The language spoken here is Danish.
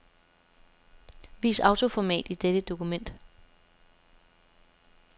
Vis autoformat i dette dokument.